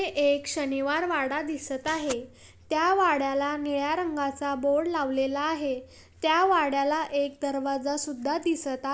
हे एक शनिवारवाडा दिसत आहे त्या वाड्याला निळा रंगाचा बोर्ड लावलेला आहे त्या वाड्याला एक दरवाजासुद्धा दिसत आ--